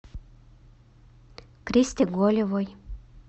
кристи голевой